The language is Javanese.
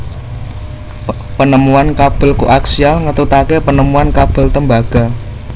Penemuan kabel koaksial ngetutake penemuan kabel tembaga